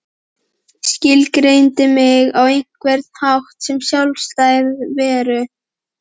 Skilgreindi mig á einhvern hátt sem sjálfstæða veru.